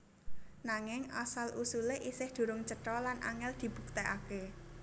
Nanging asal usulé isih durung cetha lan angèl dibuktèkaké